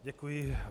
Děkuji.